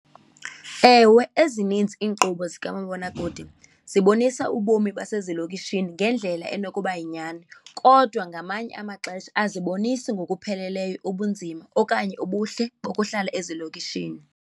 Ewe, ezininzi iinkqubo zikamabonakude zibonisa ubomi basezilokishini ngendlela enokuba yinyani, kodwa ngamanye amaxesha azibonisi ngokupheleleyo ubunzima okanye ubuhle bokuhlala ezilokishini.